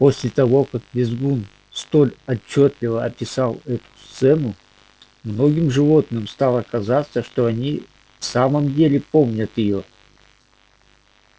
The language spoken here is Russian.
после того как визгун столь отчётливо описал эту сцену многим животным стало казаться что они в самом деле помнят её